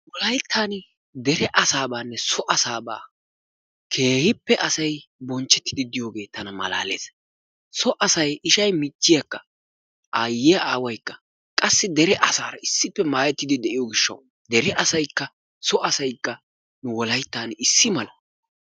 Wolayttaan dere asaabaanne so asaabaa keehippe asaynbonchchettidi diyogee tana malaales. So asay ishay michchiyakka aayyiya aawaykka qassi dere asaara issippe maayettidi de'iyo gishshawu dere asaykka so asaykka wolayttan issi mala.